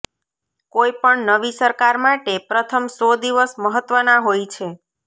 કોઇપણ નવી સરકાર માટે પ્રથમ સો દિવસ મહત્ત્વના હોય છે